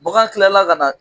Baga kilala ka na